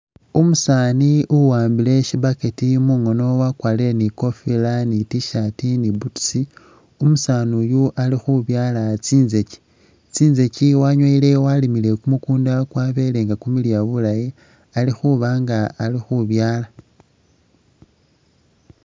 Umusani uwambile shi burket mungono wakwarile ni kofila ni t-shit ni butusi, umusanu uyu alikhubyalaa tsizegi tsizegi wanyowele walimile kumukunda kwabelenga kumiliya bulayi alikhubanga ali khubyala.